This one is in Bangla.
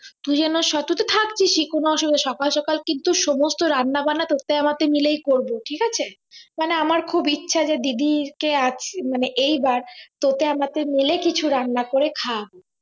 তুই যেন সব তুই তো থাকছিসই কোন অসুবিধা সকাল সকাল কিন্তু সমস্ত রান্না বান্না তোকে আমাকে মিলেই করবো ঠিক আছে মানে আমার খুব ইচ্ছা যে দিদি কে আজ মানে এই বার তোকে আমাকে মিলে কিছু রান্না করে খাওয়াব